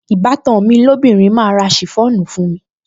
Ìbátan mi lóbìnrin máa ra ṣìfọ́ònù fún mi